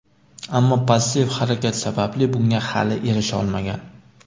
ammo passiv harakat sababli bunga hali erisha olmagan.